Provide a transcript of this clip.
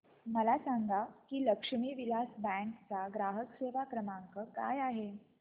मला सांगा की लक्ष्मी विलास बँक चा ग्राहक सेवा क्रमांक काय आहे